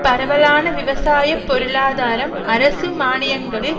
பரவலான விவசாய பொருளாதாரம் அரசு மானியங்களில்